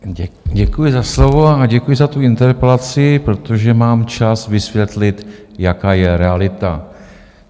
Děkuji za slovo a děkuji za tu interpelaci, protože mám čas vysvětlit, jaká je realita.